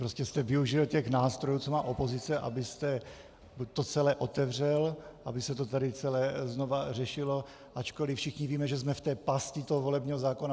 Prostě jste využil těch nástrojů, co má opozice, abyste to celé otevřel, aby se to tady celé znovu řešilo, ačkoliv všichni víme, že jsme v té pasti toho volebního zákona.